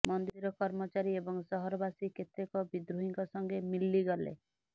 ମନ୍ଦିର କର୍ମଚାରୀ ଏବଂ ସହରବାସୀ କେତେକ ବିଦ୍ରୋହୀଙ୍କ ସଙ୍ଗେ ମିଲିଗଲେ